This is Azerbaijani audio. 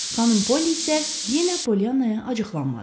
Xanım Polli isə yenə Polyanaya acıqlanmadı.